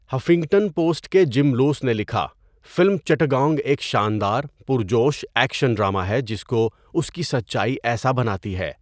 Huffington Post کے Jim Luce نے لکھا، 'فلم چٹاگانگ ایک شاندار، پُرجوش ایکشن ڈرامہ ہے جس کو اس کی سچائی ایسا بناتی ہے۔